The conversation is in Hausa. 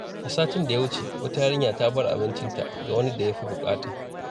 A satin da ya wuce, wata yarinya ta bar abincinta ga wani da ya fi bukata.